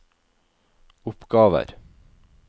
oppgaver